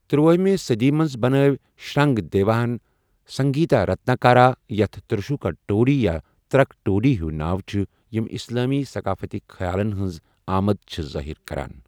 تٔراہمہِ صدی منٛز بنٲو شرنگ دیوا ہَن سنگیتا رتناکارا، یتھ تروشکا ٹوڈی یا 'ترک ٹوڈی' ہیوۍ ناو چھِ، یِم اسلٲمی ثقافتٕک خیالن ہنٛز آمد چھِ ظٲہر کران۔